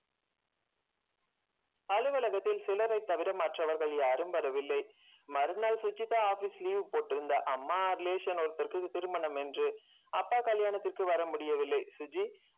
அலுவலகத்தில் சிலரைத் தவிர மற்றவர்கள் யாரும் வரவில்லை மறுநாள் சுஜிதா office leave போட்டிருந்தா அம்மா relation ஒருத்தருக்கு திருமணம் என்று அப்பா கல்யாணத்திற்கு வர முடியவில்லை சுஜி